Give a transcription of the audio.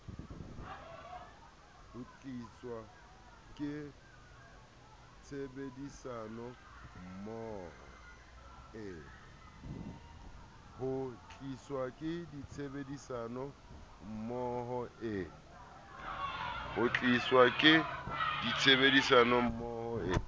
ho tliswa ke tshebedisanommoho e